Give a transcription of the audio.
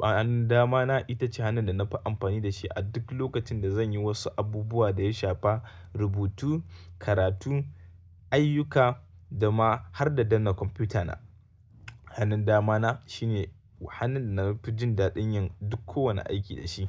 Hannun dama na ita ce hannun da na fi amfani da shi a duk lokacin da zan yi wasu abubuwa da ya shafa rubutu, karatu, ayyuka da ma har da danna kwamfuta na. Hannun damana shine hannun da na fi jin daɗin yin duk kowane aiki da shi.